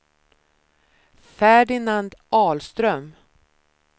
Ferdinand Ahlström